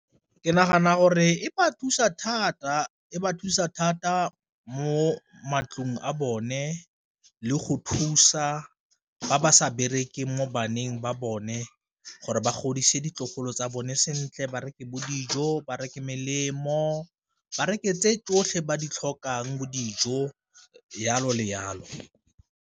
Ke nagana gore e ba thusa thata, e ba thusa thata mo matlong a bone le go thusa ba ba sa berekeng mo baneng ba bone gore ba godise ditlogolo tsa bone sentle, ba reke bo dijo ba reka melemo ba reke tse tsotlhe ba di tlhokang bo dijo jalo le jalo.